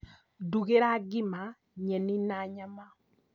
Ndugĩra ngima, nyeni na nyama